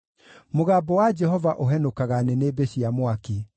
Mũgambo wa Jehova ũhenũkaga nĩnĩmbĩ cia mwaki.